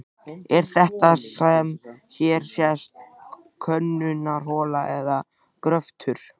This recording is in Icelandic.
Er þetta sem hér sést könnunarhola eða gröftur?